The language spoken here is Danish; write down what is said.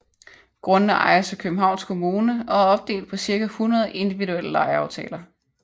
Grundene ejes af Københavns Kommune og er opdelt på cirka 100 individuelle lejeaftaler